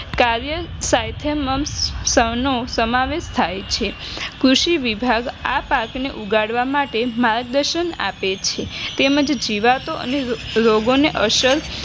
કાવેર સૈથેમેમનો સમાવેશ થાય છે કૃષિ વિભાગ આ પાકને ઉગાડવા માટે માર્ગદર્શન આપે છે તેમજ જીવાતો રોગો ને અસર